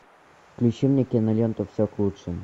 включи мне киноленту все к лучшему